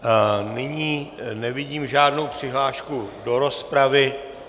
Nyní nevidím žádnou přihlášku do rozpravy.